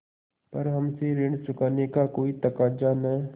पर हमसे ऋण चुकाने का कोई तकाजा न